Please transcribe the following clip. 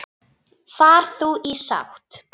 Far þú í sátt.